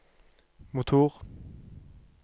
motor